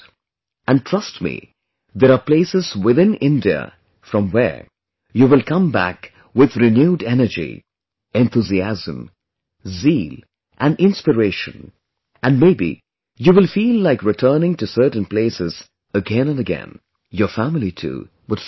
And trust me, there are places within India from where you will come back with renewed energy, enthusiasm, zeal and inspiration, and maybe you will feel like returning to certain places again and again; your family too would feel the same